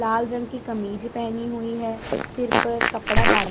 लाल रंग की कमीज पहनी हुई है सिर पर कपड़ा बांधा--